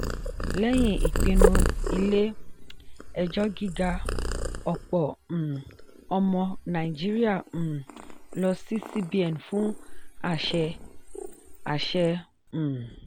lẹ́yìn ìpinnu ilé-ẹjọ́ gíga ọ̀pọ̀ um ọmọ nàìjíríà um lọ sí cbn fún àṣẹ. àṣẹ. um